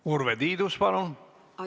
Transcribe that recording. Urve Tiidus, palun!